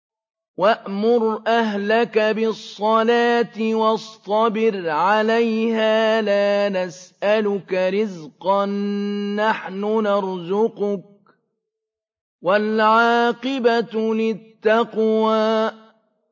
وَأْمُرْ أَهْلَكَ بِالصَّلَاةِ وَاصْطَبِرْ عَلَيْهَا ۖ لَا نَسْأَلُكَ رِزْقًا ۖ نَّحْنُ نَرْزُقُكَ ۗ وَالْعَاقِبَةُ لِلتَّقْوَىٰ